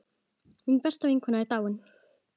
Mín besta vinkona er dáin.